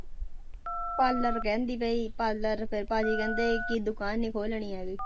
Parlour ਕਹਿੰਦੀ ਪਈ parlour ਫਿਰ ਭਾਜੀ ਕਹਿੰਦੇ ਕਿ ਦੁਕਾਨ ਨੀ ਖੋਲਣੀ ਹੈਗੀ।